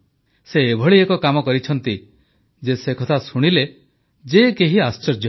ସେ ଏଭଳି ଏକ କାମ କରିଛନ୍ତି ଯେ ସେକଥା ଶୁଣିଲେ ଯେ କେହି ଆଶ୍ଚର୍ଯ୍ୟ ହେବେ